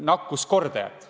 – nakkuskordajat.